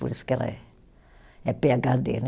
Por isso que ela é , é pê agá dê, né.